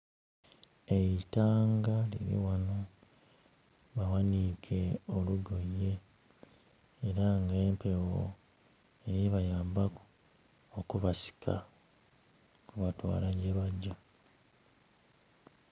Eitanga liri ghano, baghaniike olugoye era nga empewo eri ku bayambaku okubasika okubatwala gye bagya.